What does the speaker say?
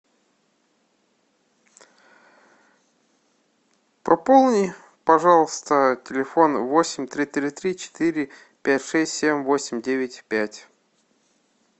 пополни пожалуйста телефон восемь три три три четыре пять шесть семь восемь девять пять